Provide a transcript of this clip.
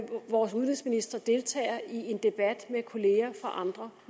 vores udenrigsminister deltager i en debat med kolleger fra andre